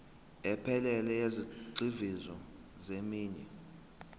ephelele yezigxivizo zeminwe